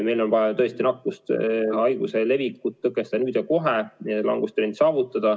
Meil on tõesti vaja nakkushaiguse levikut tõkestada nüüd ja kohe, langustrend saavutada.